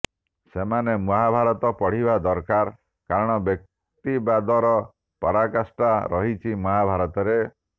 ସେମାନେ ମହାଭାରତ ପଢ଼ିବା ଦରକାର କାରଣ ବ୍ୟକ୍ତିବାଦର ପରାକାଷ୍ଠା ରହିଛି ମହାଭାରତରେ